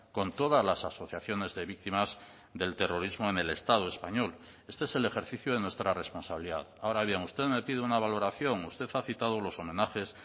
con todas las asociaciones de víctimas del terrorismo en el estado español este es el ejercicio de nuestra responsabilidad ahora bien usted me pide una valoración usted ha citado los homenajes